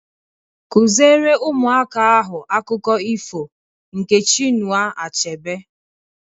Kụziere ụmụaka ahụ akụkọ ifo nke Chinua Achebe!